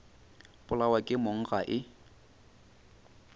polawa ke mong ga e